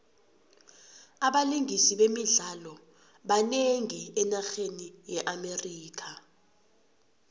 abalingisi bemidlalo banengi enarheni ye amerika